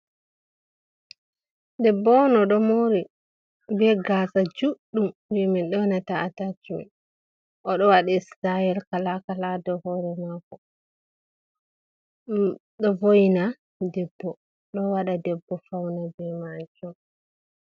Ɗebbo'on oɗo moori, be gasa judɗum jee men yonata atachimen. Oɗo waɗi Sitayel kala kala ha do hoore mako. Hhm ɗo vo'ina debbo ɗo waɗa debbo fauna be majum.